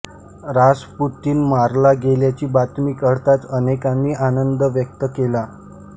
Rasputin मारला गेल्याची बातमी कळताच अनेकांनी आनंद व्यक्त केला